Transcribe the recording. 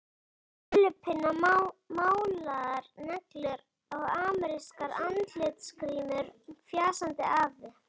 Með krullupinna, málaðar neglur og amerískar andlitsgrímur, fjasaði afi.